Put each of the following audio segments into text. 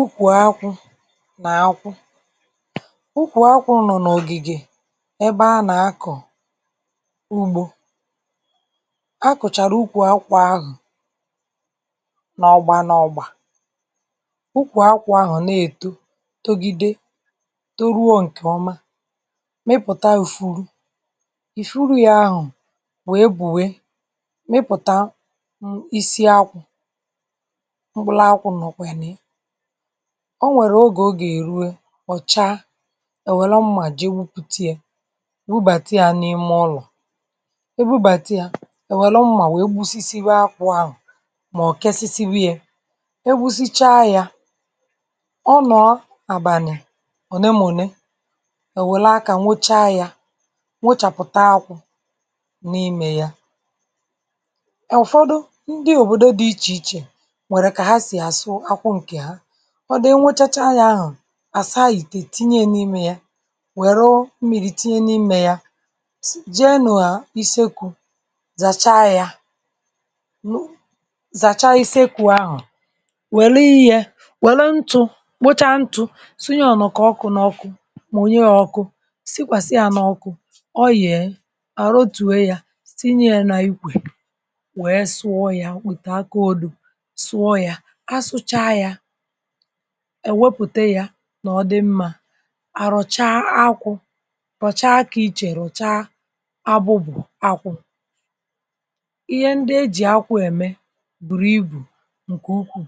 Ukwù akwụ̀ n’akwụ̀ ukwù akwụ̀ nọ̀ n’ogigè ebe a na-akọ̀ ugbò a kụ̀charà ukwù akwụ̀ ahụ̀ n’ọgbà n’ọgbà ukwù akwụ̀ ahụ̀ na-etò togidè toruò nkè ọmà mepùtà ufurù ifurù yà ahụ̀ wee buè mịpụtà um, isi akwụ̀ m̄kpụlakwụ̀ nọ̀kwà nà yà o nwerè ogè ọ ga-eruè ọchà e welè mmà jeè gbùputà yà webatà yà n’imè ụlọ̀ e bùbatà yà e welù mmà wee gbusisiwà akwụ̀ ahu̇̀ mọ̀ kesisibè yà e gbùsìchà yà ọ lọọ̀ abànị̀ onè mà onè e welù aka nwụ̀chà yà nwụchapụtà akwụ̀ n’imè yà ụfọdụ̀ ndị̀ òbodò dị̀ iche ichè nwerè kà hà sì asụ̀ akwụ̀ nkè hà ọ bịà nwechachà yà ahụ̀ asà itè tinyè yà n’imè yà werọọ̀ mmiri tinyè n’imè yà sì, jè n’isekwù zachà yà nọ̀ zachà isekwù ahụ̀ welì yà welù ntụ̀ kpotà ntụ̀ sunyè n’ọkụ̀ n’ọkụ̀ kponyè yà ọkụ̀ sikwàsị̀ yà n’ọkụ̀ ọ yeè a ru̇tuè yà tinyè yà n’ikwè wee sụọ̀ yà with aka odò sụọ̀ yà asụ̀chà yà e wepùtà yà nọ̀ ọ dị̀ mmà a rụchaà akwụ̀ rụchà akị̀ iche, rụchà abụ̀bụ̀ akwụ̀ ihe ndị̀ ejì akwụ̀ emè burù ibù nkè ukwuù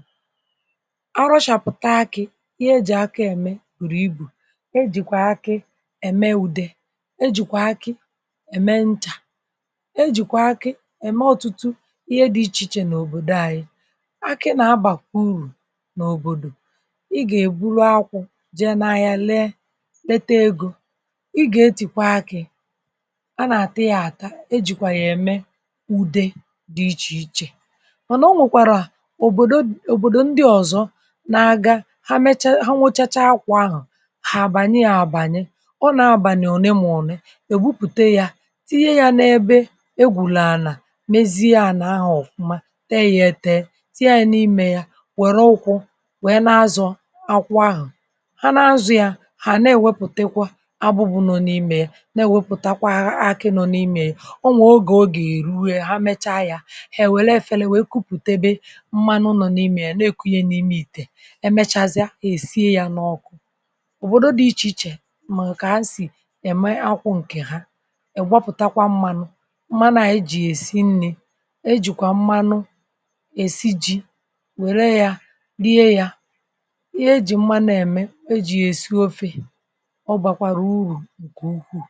a rụchapụ̀tà akị̀ ihe ejì akì emè burù ibù e jikwà akị̀ emè udè e jikwà akị̀ emè nchà e jikwà akị̀ emè ọtụtụ ihe dị̀ iche ichè n’òbodò anyị̀ akị̀ na-abàkwà urù n’òbodò ị ga-eburù akwụ̀ jeè n’ahịà leè letè egō ị ga-etikwà akị̀ a na-atà yà atà e jikwà yà emè udè dị̀ iche ichè mànà o nwèkwarà obodò, òbodò ndị̀ ọzọ̀ na-agà hà mechà hà nwochachà akwụ̀ ahụ̀ hà abànyè yà abànyè ọ nọ̀ abànị̀ onè mà onè e gbùpùtà yà tinyè yà n’ebè egwùnà ànà meziè ànà ahụ̀ ọfụ̀mà tè yà etē tinyè yà n’imè yà werè ụkwụ̀ wee na-azọ̀ akwụ̀ ahụ̀ hà na-azụ̀ yà hà na-eweputakwà abụ̀bụ̀ nọ̀ n’imè yà na-eweputàkwà akị̀ nọ̀ n’imè yà o nwè ogè ọ ga-erù, hà mechà yà hà ewelè efèlè wee kupùtebè mmanụ̀ nọ̀ n’imè, na-ekùnyè n’imè itè emechàzịà, e siè yà n’ọkụ̀ òbodò dị̀ iche ichè mà kà hà sì emè akwụ̀ nkè hà ịgbàpụ̀takwà mmanụ̀ mmanụ̀ anyị̀ jì esì nnì e jikwà mmanụ̀ e sì ji werè yà riè yà ihe ejì mmanụ̀ emè e jì yà esì ofè ọ bakwarà urù nkè ukwuù